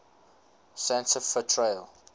santa fe trail